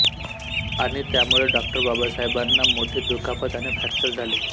आणि त्यामुळे डॉ बाबासाहेबांना मोठी दुखापत आणि फ्रॅक्चर झाले